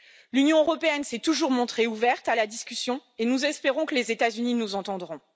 L'Union européenne s'est toujours montrée ouverte à la discussion et nous espérons que les États Unis nous entendront.